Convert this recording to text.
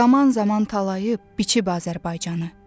Zaman-zaman talayıb, biçib Azərbaycanı.